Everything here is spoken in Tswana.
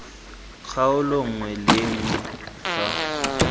kgaolo nngwe le nngwe fa